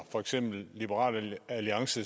liberal alliance